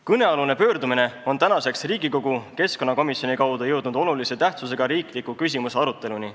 Kõnealune pöördumine on tänaseks Riigikogu keskkonnakomisjoni kaudu jõudnud olulise tähtsusega riikliku küsimusena arutelule.